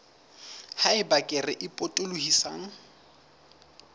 ha eba kere e potolohisang